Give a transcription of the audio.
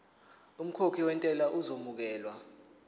umkhokhi wentela uzokwamukelwa